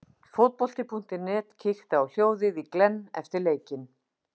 Fótbolti.net kíkti á hljóðið í Glenn eftir leikinn.